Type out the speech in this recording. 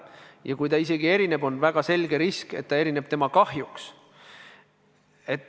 Ja kui see isegi erineb, siis on väga selge risk, et erineb tema kahjuks.